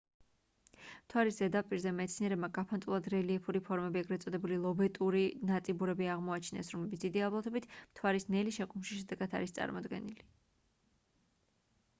მთვარის ზედაპირზე მეცნიერებმა გაფანტულად რელიეფური ფორმები ეგრეთ წოდებული ლობეტური ნაწიბურები აღმოაჩინეს რომლებიც დიდი ალბათობით მთვარის ნელი შეკუმშვის შედეგად არის წარმოქმნილი